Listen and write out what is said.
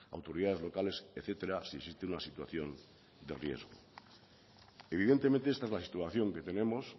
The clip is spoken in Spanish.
autoridades locales etcétera si existe una situación de riesgo evidentemente esta es la situación que tenemos